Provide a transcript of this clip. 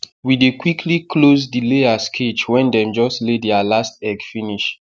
we dey quicly close the layers cage wen dem just lay their last egg finish